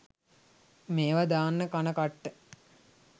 මේවා දාන්න කන කට්ට